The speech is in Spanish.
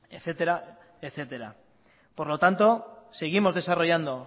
etcétera por lo tanto seguimos desarrollando